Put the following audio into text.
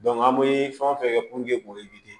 an bɛ fɛn o fɛn kɛ